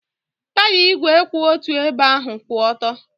Taya ígwè kwụ otu ebe ahụ kwụ ọtọ.